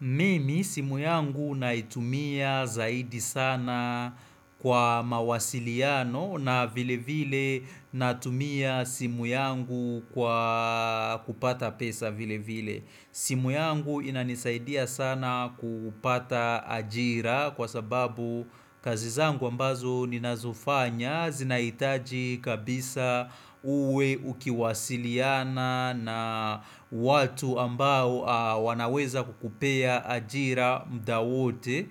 Mimi simu yangu naitumia zaidi sana kwa mawasiliano na vile vile natumia simu yangu kwa kupata pesa vile vile. Simu yangu inanisaidia sana kupata ajira kwa sababu kazi zangu ambazo ninazofanya zinahitaji kabisa uwe ukiwasiliana na watu ambao wanaweza kukupea ajira mda wote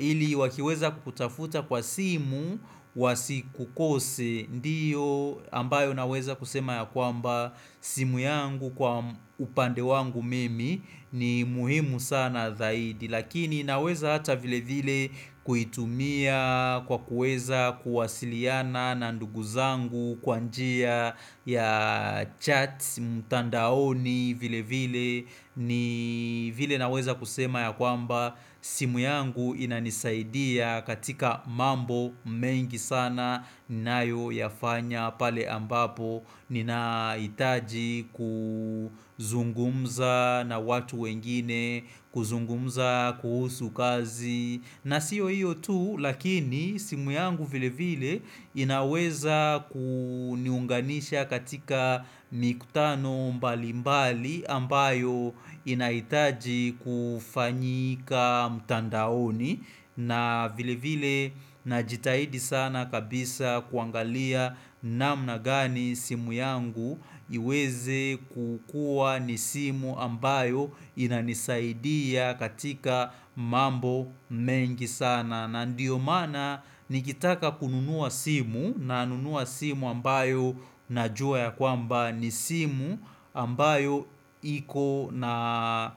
ili wakiweza kukutafuta kwa simu wasikukose Ndiyo ambayo naweza kusema ya kwamba simu yangu kwa upande wangu mimi ni muhimu sana zaidi Lakini naweza hata vile vile kuitumia kwa kuweza kuwasiliana na nduguzangu kwa njia ya chats mtandaoni vile vile ni vile naweza kusema ya kwamba simu yangu inanisaidia katika mambo mengi sana ninayo yafanya pale ambapo nina hitaji kuzungumza na watu wengine kuzungumza kuhusu kazi na siyo hiyo tu lakini simu yangu vile vile inaweza kuniunganisha katika mikutano mbalimbali ambayo inahitaji kufanyika mtandaoni na vile vile najitahidi sana kabisa kuangalia namna gani simu yangu iweze kukuwa ni simu ambayo inanisaidia katika mambo mengi sana na ndiyo maana nikitaka kununua simu nanunua simu ambayo najua ya kwamba ni simu ambayo iko na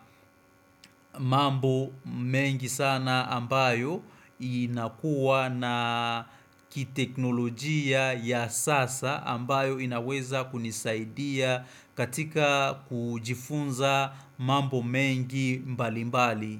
mambo mengi sana ambayo inakuwa na kiteknolojia ya sasa ambayo inaweza kunisaidia katika kujifunza mambo mengi mbali mbali.